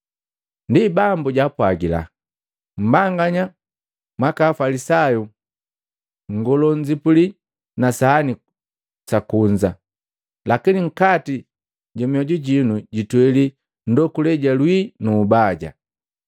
Ndi Bambu jaapwagila, “Mmbanganya mwaka, Afalisayu nngolo nnzipuli na sahani kunza, lakini nkati ja mioju jino jitweli ndokule ja wii nu ubaya.